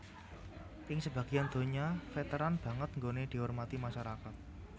Ing sebagian donya Vèteran banget nggoné dihormati masyarakat